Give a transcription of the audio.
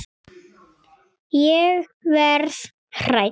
Ég verð hrædd.